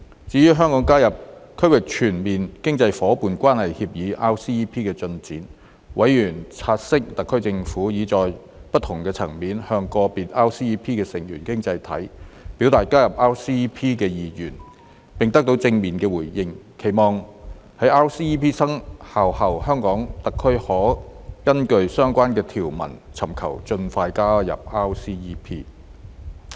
至於香港加入《區域全面經濟伙伴關係協定》的進展，委員察悉特區政府已在不同層面，向個別 RCEP 成員經濟體表達加入 RCEP 的意願，並得到正面回應，期望在 RCEP 生效後，香港特區可根據相關條文尋求盡快加入 RCEP。